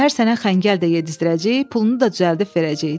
Səhər sənə xəngəl də yedizdirəcəyik, pulunu da düzəldib verəcəyik.